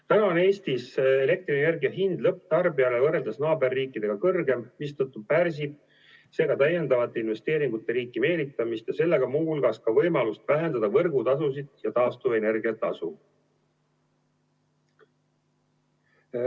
Täna on Eestis elektrienergia hind lõpptarbijale naaberriikidega võrreldes kõrgem, mistõttu pärsib see ka täiendavate investeeringute riiki meelitamist ja sellega muu hulgas ka võimalust vähendada võrgutasusid ja taastuvenergia tasu.